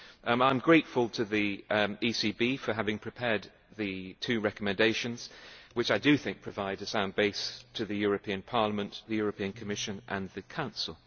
I am grateful to the ECB for having prepared the two recommendations, which I think provide a sound base for the European Parliament, the European Commission and the Council.